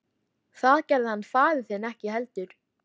Það gerði hann faðir þinn ekki heldur.